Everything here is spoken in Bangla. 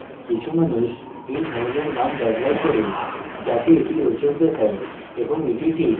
কিছু মানুষ এই ধরণের names ব্যবহার করে যাতে এটি রোচক দেখায় এবং এটি ঠিক